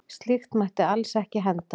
Slíkt mætti alls ekki henda.